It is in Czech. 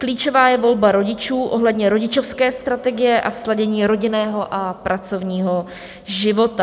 Klíčová je volba rodičů ohledně rodičovské strategie a sladění rodinného a pracovního života.